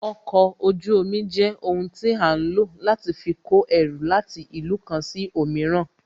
Okọ̀ ojú omi jẹ́ ohun tí a ń lò láti fi kó ẹrù láti ìlú kan sí òmíràn